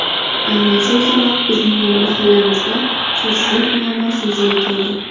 Aynan shu sabab bizning mahallamizda suvsizlik muammosi yuzaga keldi.